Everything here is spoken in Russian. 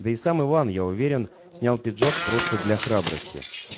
да и сам иван я уверен снял пиджак просто для храбрости